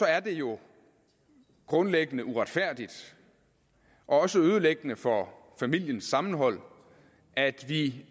er det jo grundlæggende uretfærdigt og også ødelæggende for familiens sammenhold at vi